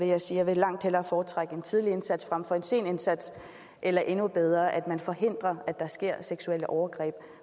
jeg sige at jeg langt vil foretrække en tidlig indsats frem for en sen indsats eller endnu bedre at man forhindrer at der sker seksuelle overgreb